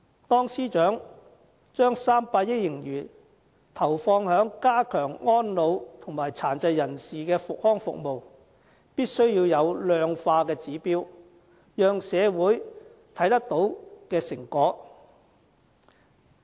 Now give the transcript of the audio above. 當司長把300億元盈餘投放於加強安老和殘疾人士的康復服務時，必須有量化的指標，讓社會可以看到成果。